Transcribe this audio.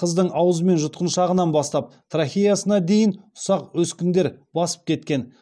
қыздың аузы мен жұтқыншағынан бастап трахеясына дейін ұсақ өскіндер басып кеткен